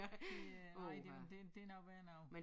Det øh nej det det det noget værre noget